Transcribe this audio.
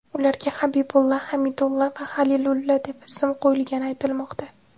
Ularga Habibulla, Hamidulla va Halilulla deb ism qo‘yilgani aytilmoqda.